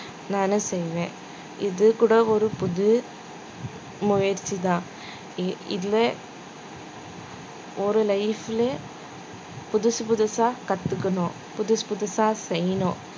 நானு செய்வேன் இது கூட ஒரு புது முயற்சிதான் இ~ இந்த ஒரு life ல புதுசு புதுசா கத்துக்கணும் புதுசு புதுசா செய்யணும்